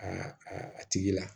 Aa a tigi la